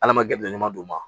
Ala ma gɛlɛ ɲuman d'u ma